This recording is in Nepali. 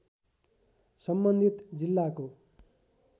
सम्बन्धित जिल्लाको